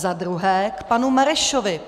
Za druhé k panu Marešovi.